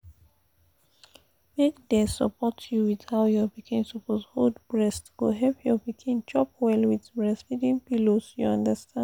make they support you with how your pikin suppose hold breast go help your pikin chop well with breastfeeding pillows you understand